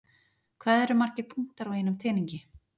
Hvað eru margir punktar á einum teningi?